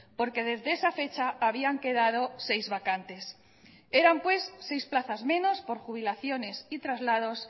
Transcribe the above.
porque desde esa fecha habían quedado seis vacantes eran pues seis plazas menos por jubilaciones y traslados